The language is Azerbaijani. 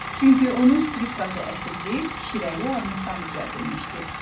Çünki onun skripkası ətirli, şirəli armuddan düzəldilmişdi.